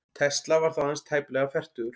Tesla var þá aðeins tæplega fertugur.